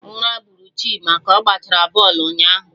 Ura bụrụ Chima ka ọ gachara bọlụ ụnyaahụ